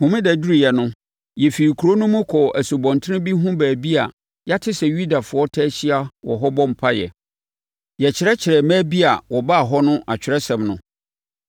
Homeda duruiɛ no, yɛfirii kuro no mu kɔɔ asubɔnten bi ho baabi a yɛate sɛ Yudafoɔ taa hyia wɔ hɔ bɔ mpaeɛ. Yɛkyerɛkyerɛɛ mmaa bi a wɔbaa hɔ no Atwerɛsɛm no.